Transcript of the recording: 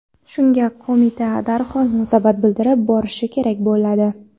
Shunga qo‘mita darhol munosabat bildirib borishi kerak bo‘ladi.